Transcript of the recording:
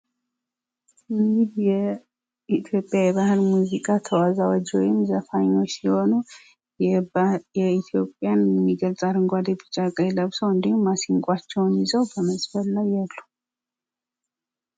ይህ የኢትዮጵያ የባህል ሙዚቃ ተወዛዋዥ ወይም ዘፋኞች ሲሆኑ ኢትዮጵያን የሚገልጽ አረንጓዴ፣ ቢጫ፣ ቀይ ለብሰው እንዲሁም ማሲቅቸውን ይዘው በመዝፈን ላይ ያሉ ሰዎችን የሚያሳይ ምስል ነው ።